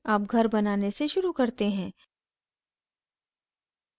अब घर बनाने से शुरू करते हैं